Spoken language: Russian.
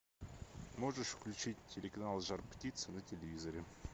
можешь включить телеканал жар птица на телевизоре